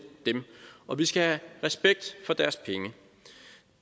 dem og vi skal have respekt for deres penge